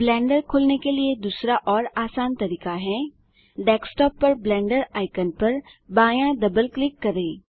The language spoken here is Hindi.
ब्लेंडर खोलने के लिए दूसरा और आसान तरीका है डेस्कटॉप पर ब्लेंडर आइकन पर बायाँ डबल क्लिक करें